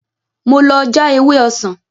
Mo lọ já ewé ọsàn